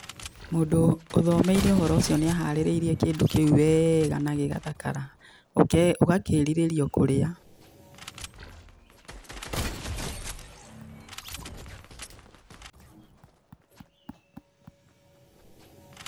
Mũndũ ũthomeire ũhoro ũcio nĩ aharirĩirie kĩndũ kĩu wega na gĩgathakara. Ũgakĩrirĩria o kũrĩa.